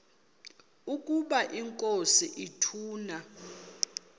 ukaba inkosi ituna